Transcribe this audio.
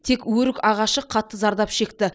тек өрік ағашы қатты зардап шекті